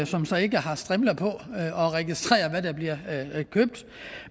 som så ikke har strimler på og registrerer hvad der bliver købt